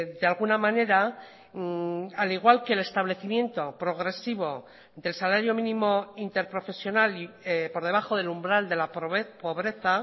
de alguna manera al igual que el establecimiento progresivo del salario mínimo interprofesional por debajo del umbral de la pobreza